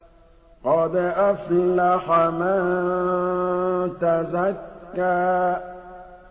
قَدْ أَفْلَحَ مَن تَزَكَّىٰ